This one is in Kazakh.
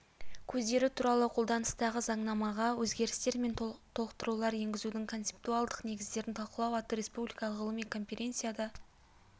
көздері туралы қолданыстағы заңнамаға өзгерістер мен толықтырулар енгізудің концептуальдық негіздерін талқылау атты республикалық ғылыми конференцияда